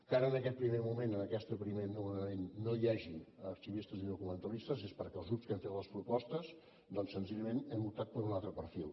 que ara en aquest primer moment en aquest primer nomenament no hi hagi arxivistes ni documentalistes és perquè els grups que hem fet les propostes doncs senzillament hem optat per un altre perfil